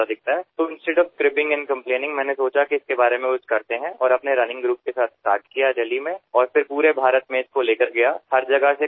अशा वेळी तक्रार करण्याऐवजी किंवा कटकट करण्याऐवजी मला असे वाटले की याबद्दल काही करता येईल आणि माझ्या धावपटूंच्या गटासोबत दिल्लीमध्ये सुरुवात केली आणि संपूर्ण भारतभरात ही मोहिम घेऊन गेलो